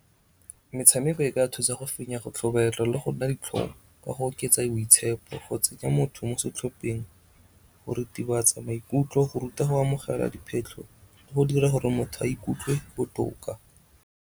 Metshameko e ka thusa go fenya go tlhobaelwa le go nna ditlhong ka go oketsa boitshepo, go tsenya motho mo setlhopheng, go ritibatsa maikutlo, go ruta go amogela diphetlho, le go dira gore motho a ikutlwe botoka.